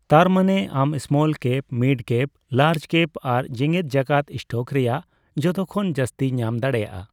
ᱛᱟᱨᱢᱟᱱᱮ ᱟᱢ small cap, mid cap, large cap ᱟᱨ ᱡᱮᱜᱮᱫᱡᱟᱠᱟᱛ ᱥᱴᱚᱠ ᱨᱮᱭᱟᱜ ᱡᱚᱛᱚᱠᱷᱚᱱ ᱡᱟᱹᱥᱛᱤ ᱧᱟᱢ ᱫᱟᱲᱮᱭᱟᱼᱟ ᱾